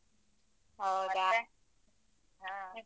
ಹ.